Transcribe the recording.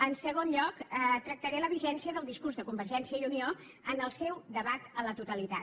en segon lloc tractaré la vigència del discurs de convergència i unió en el seu debat a la totalitat